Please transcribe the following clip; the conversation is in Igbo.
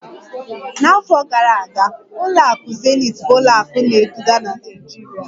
N'afọ gara aga, ụlọakụ zenith bụ ụlọ akụ na-eduga na Naịjirịa